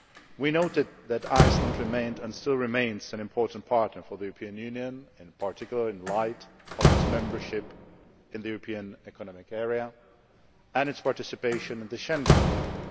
We noted that Iceland remained and still remains an important partner for the European Union, in particular in the light of its membership of the European Economic Area and its participation in the Schengen area.